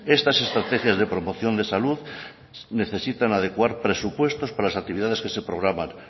estas estrategias de promoción de salud necesitan adecuar presupuestos para las actividades que se programan